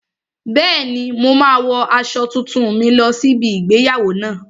Bẹ́ẹ̀ni, mo máa wo aṣọ tuntun mi lọ sí ibi igbéyàwó náà